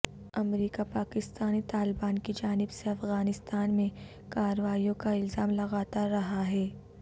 امریکہ پاکستانی طالبان کی جانب سے افغانستان میں کارروائیوں کا الزام لگاتا رہا ہے